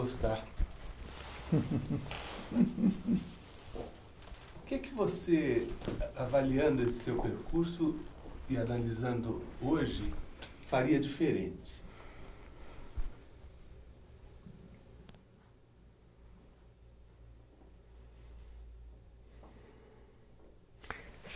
O que você, avaliando esse seu percurso e analisando hoje, faria diferente?